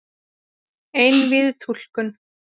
Einvíð túlkun